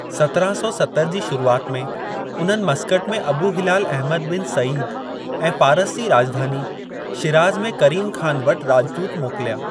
सत्राहं सौ सतरि जी शुरुआत में उन्हनि मस्कट में Abu Hilal Ahmad bin Said ऐं फारस जी राज॒धानी, शिराज में करीम खान वटि राज॒दूत मोकिलिया।